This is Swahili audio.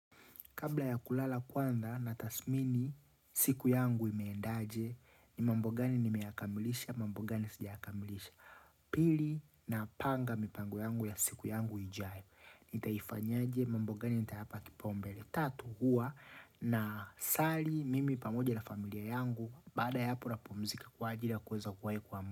Kabla ya kulala kwanza na tasmini siku yangu imeendaje ni mambo gani ni meyakamilisha, mambo gani sija yakamilisha. Pili ninapanga mipango yangu ya siku yangu ijayo. Nitaifanyaje mambo gani nitayapa kipaombele. Tatu huwa na sali mimi pamoja na familia yangu baada ya hapo napumzika kwa ajili ya kuweza kuwai kuamka.